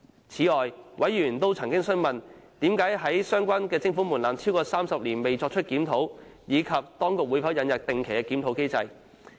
此外，委員曾詢問，為何相關徵款門檻超過30年未作出檢討，以及當局會否引入定期檢討機制。